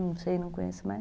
Não sei, não conheço mais.